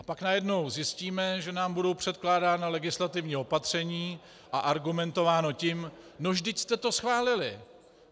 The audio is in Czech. A pak najednou zjistíme, že nám budou předkládána legislativní opatření a argumentováno tím: No vždyť jste to schválili!